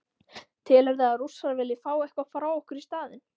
Telurðu að Rússar vilji fá eitthvað frá okkur í staðinn?